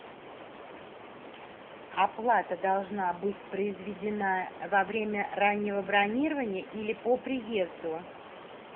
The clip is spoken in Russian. оплата должна быть произведена во время раннего бронирования или по приезду